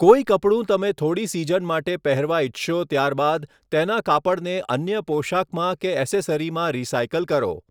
કોઈ કપડું તમે થોડી સીઝન માટે પહેરવા ઇચ્છશો ત્યારબાદ તેનાં કાપડને અન્ય પોશાકમાં કે એસેસરીમાં રિસાઇકલ કરો.